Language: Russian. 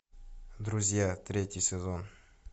друзья третий сезон